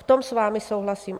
V tom s vámi souhlasím.